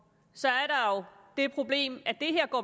er der et problem